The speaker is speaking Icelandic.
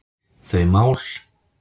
þau mál.